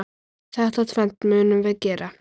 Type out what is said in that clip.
Þetta tvennt munum við gera.